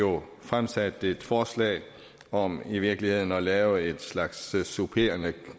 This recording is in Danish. har jo fremsat et forslag om i virkeligheden at lave en slags supplerende